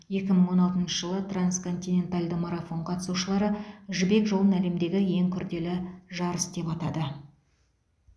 екі мың он алтыншы жылы трансконтиненталды марафон қатысушылары жібек жолын әлемдегі ең күрделі жарыс деп атады